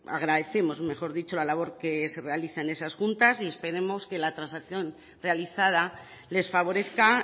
agradecemos mejor dicho la labor que se realiza en esas juntas y esperemos que la transacción realizada les favorezca